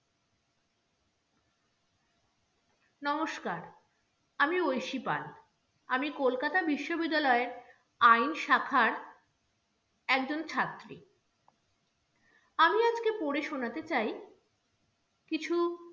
নমস্কার, আমি ঐশী পাল, আমি কলকাতা বিশ্ববিদ্যালয়ের আইন শাখার একজন ছাত্রী আমি আজকে পড়ে শোনাতে চাই কিছু